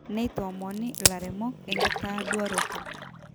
neitoomoni ill`airemok enkitoduaroto.